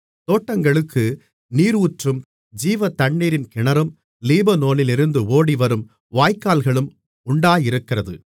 தோட்டங்களுக்கு நீரூற்றும் ஜீவதண்ணீரின் கிணறும் லீபனோனிலிருந்து ஓடிவரும் வாய்க்கால்களும் உண்டாயிருக்கிறது மணவாளி